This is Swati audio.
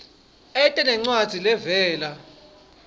ete nencwadzi levela